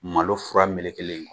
Malo fura melekelen